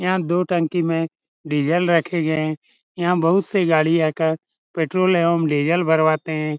यहाँ दो टंकी में डीजल रखे गये यहाँ बहुत से गाड़ी आ कर पेट्रोल एवं डीजल भरवाते हैं ।